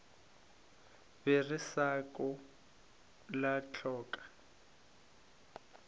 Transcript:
ba re šako la hloka